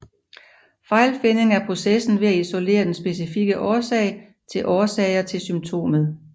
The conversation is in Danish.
Fejlfinding er processen med at isolere den specifikke årsag eller årsager til symptomet